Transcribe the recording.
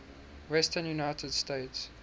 western united states